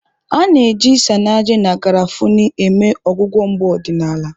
A na-eji Isanaje na garafuni eme ọgwụgwọ mgbu ọdịnala.